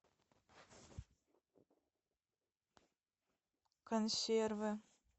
консервы